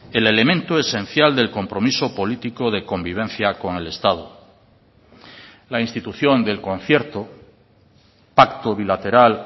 el elemento esencial del compromiso político de convivencia con el estado la institución del concierto pacto bilateral